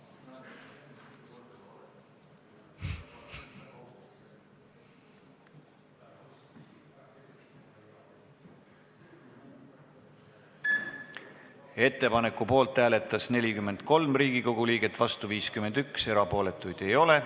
Hääletustulemused Ettepaneku poolt hääletas 43 Riigikogu liiget, vastu oli 51, erapooletuid ei ole.